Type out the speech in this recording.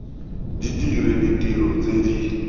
di dire ditiro tse di